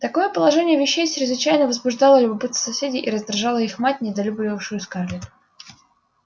такое положение вещей чрезвычайно возбуждало любопытство соседей и раздражало их мать недолюбливавшую скарлетт